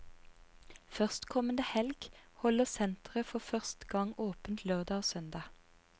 Førstkommende helg holder senteret for først gang åpent lørdag og søndag.